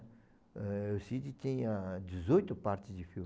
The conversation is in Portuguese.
El Cid tinha dezoito partes de filme.